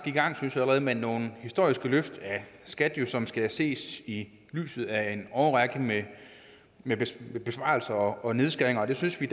i gang synes jeg med nogle historiske løft af skat som skal ses i lyset af en årrække med besparelser og nedskæringer det synes vi